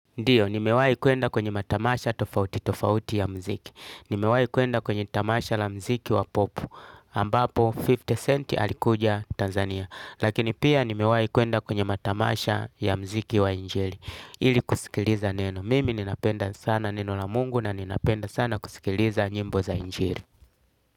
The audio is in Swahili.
Ndiyo, nimewahi kwenda kwenye matamasha tofauti tofauti ya mziki Nimewahi kwenda kwenye tamasha la mziki wa popu ambapo 50 centi alikuja Tanzania Lakini pia nimewahi kuenda kwenye matamasha ya mziki wa injili Ili kusikiliza neno Mimi ninapenda sana neno la mungu na ninapenda sana kusikiliza nyimbo za injili.